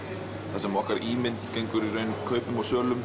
þar sem okkar ímynd gengur kaupum og sölum